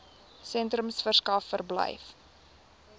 sentrums verskaf verblyf